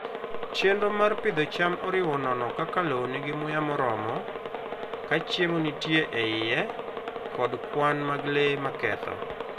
Chenro mar pidho cham oriwo nono ka lowo nigi muya moromo, ka chiemo nitie e iye, kod kwan mag le maketho.